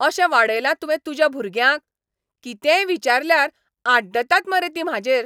अशें वाडयलां तुवें तुज्या भुरग्यांक? कितेंय विचारल्यार आड्डतात मरे तीं म्हाजेर .